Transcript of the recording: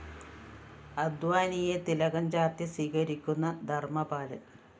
അദ്വാനിയെ തിലകം ചാര്‍ത്തി സ്വീകരിക്കുന്ന ധര്‍മ്മപാലന്‍